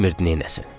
Bilmir'di neyləsin.